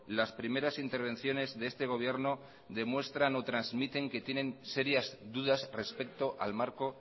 las primeras intervenciones de este gobierno demuestran o transmiten que tienen serias dudas respecto al marco